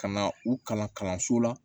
Ka na u kalan kalanso la